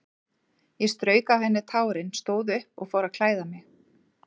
Ég strauk af henni tárin, stóð upp og fór að klæða mig.